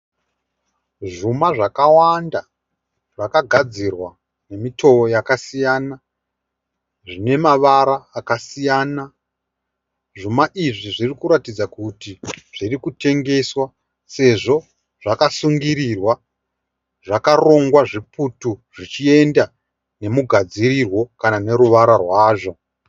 Zvuma zvakawanda zvakagadzirwa nemutowo wakasiyana, zvine mavara akasiyana. Zvuma izvi zvirikuratidza kuti zvirikutengeswa sezvo zvakasungirirwa zvakarongwa zviputu zvichienda nemugadzirirwo kana neruvara rwazvo.